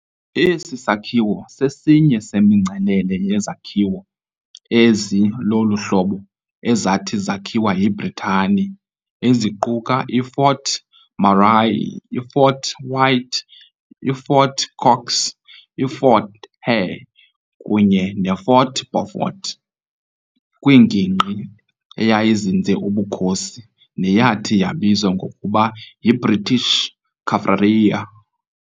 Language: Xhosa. Esi sakhiwo sesinye semingcelele yezakhiwo ezi lolu hlobo ezathi zakhiwa yiBritane, eziquka iFort Murray, iFort White, iFort Cox, iFort Hare kunye neFort Beaufort, kwingingqi eyayizinze ubukhosi neyathi yabizwa ngokuba yiBritish Kaffraria.